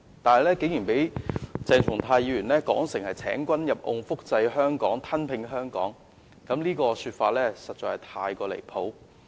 不過，鄭議員竟然描述為"請君入甕"、"複製香港"、"吞併香港"，實在太離譜。